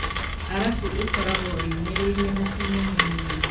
Arabu ĩkoragwo yũmĩrĩirie na ti nyũmũ mũno